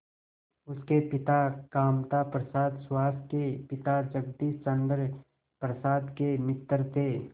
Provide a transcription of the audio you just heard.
उसके पिता कामता प्रसाद सुहास के पिता जगदीश चंद्र प्रसाद के मित्र थे